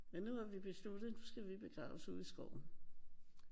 Men nu har vi besluttet nu skal vi begraves ude i skoven